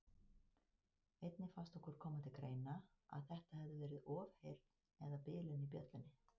Einnig fannst okkur koma til greina að þetta hefði verið ofheyrn eða bilun í bjöllunni.